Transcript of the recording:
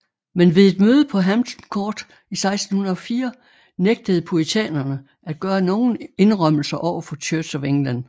Men ved et møde på Hampton Court i 1604 nægtede puritanerne at gøre nogen indrømmelser overfor Church of England